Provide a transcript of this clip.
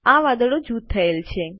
આ વાદળો જૂથ થયેલ છે